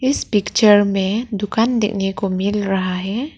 इस पिक्चर में दुकान देखने को मिल रहा है।